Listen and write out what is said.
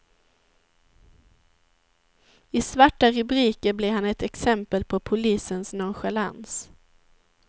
I svarta rubriker blir han ett exempel på polisens nonchalans.